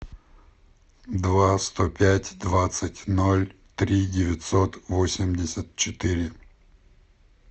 два сто пять двадцать ноль три девятьсот восемьдесят четыре